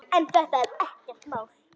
En þetta er ekkert mál.